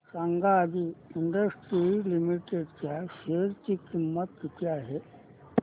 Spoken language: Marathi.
सांगा आदी इंडस्ट्रीज लिमिटेड च्या शेअर ची किंमत किती आहे